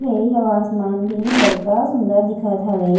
ए आऊ आसमान भी बड़का सुन्दर दिखत हावे--